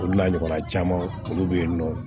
Olu n'a ɲɔgɔnna caman olu bɛ yen nɔ